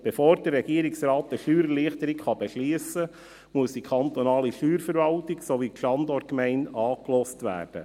Bevor der Regierungsrat eine Steuererleichterung beschliessen kann, muss die kantonale Steuerverwaltung sowie die Standortgemeinde angehört werden.